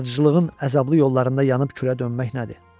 Yaradıcılığın əzablı yollarında yanıb külə dönmək nədir?